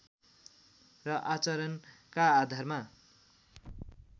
र आचरणका आधारमा